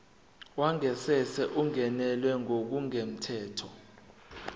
wangasese ungenelwe ngokungemthetho